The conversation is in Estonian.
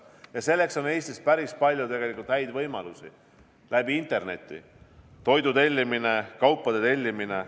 Ja selleks on Eestis päris palju häid võimalusi, näiteks interneti kaudu toidu ja kaupade tellimine.